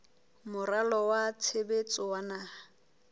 moralo wa tshebetso wa naha